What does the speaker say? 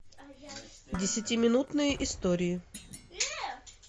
десятиминутные истории